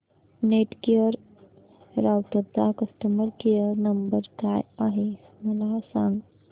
Netgear राउटरचा customer care number काय आहे मला सांग